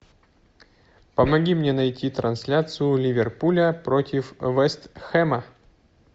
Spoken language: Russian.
помоги мне найти трансляцию ливерпуля против вест хэма